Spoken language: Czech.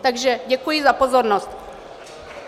Takže děkuji za pozornost.